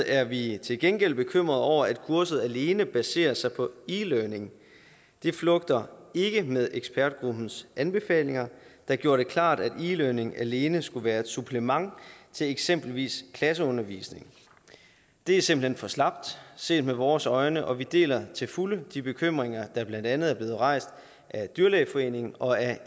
er vi til gengæld bekymrede over at kurset alene baserer sig på e learning det flugter ikke med ekspertgruppens anbefalinger der gjorde det klart at e learning alene skulle være et supplement til eksempelvis klasseundervisning det er simpelt hen for slapt set med vores øjne og vi deler til fulde de bekymringer der blandt andet er blevet rejst af dyrlægeforeningen og af